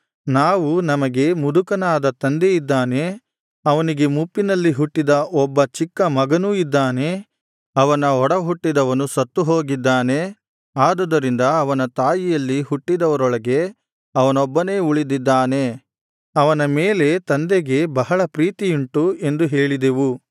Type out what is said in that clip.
ನಾವು ನಮಗೆ ಮುದುಕನಾದ ತಂದೆಯಿದ್ದಾನೆ ಅವನಿಗೆ ಮುಪ್ಪಿನಲ್ಲಿ ಹುಟ್ಟಿದ ಒಬ್ಬ ಚಿಕ್ಕ ಮಗನೂ ಇದ್ದಾನೆ ಅವನ ಒಡಹುಟ್ಟಿದವನು ಸತ್ತು ಹೋಗಿದ್ದಾನೆ ಆದುದರಿಂದ ಅವನ ತಾಯಿಯಲ್ಲಿ ಹುಟ್ಟಿದವರೊಳಗೆ ಅವನೊಬ್ಬನೇ ಉಳಿದಿದ್ದಾನೆ ಅವನ ಮೇಲೆ ತಂದೆಗೆ ಬಹಳ ಪ್ರೀತಿಯುಂಟು ಎಂದು ಹೇಳಿದೆವು